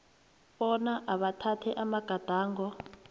bona athathe amagadango